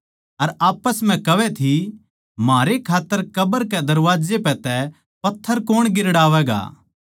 अर आप्पस म्ह कहवै थी म्हारै खात्तर कब्र के दरबाजे पै तै पत्थर कौण गिरड़ावैगा